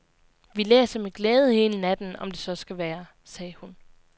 Vi læser med glæde hele natten, om det så skal være, sagde hun.